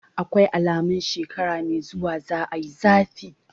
Akwai alamun shekara mai zuwa za a yi zafi.